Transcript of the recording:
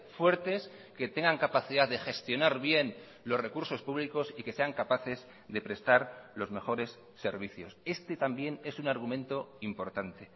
fuertes que tengan capacidad de gestionar bien los recursos públicos y que sean capaces de prestar los mejores servicios este también es un argumento importante